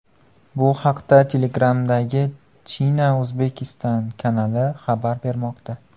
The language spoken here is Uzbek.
Bu haqda Telegram’dagi China-Uzbekistan kanali xabar bermoqda .